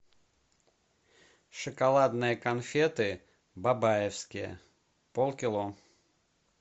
шоколадные конфеты бабаевские полкило